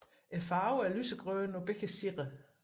Farven er lysegrøn på begge sider